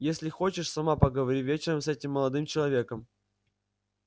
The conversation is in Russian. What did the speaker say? если хочешь сама поговори вечером с этим молодым человеком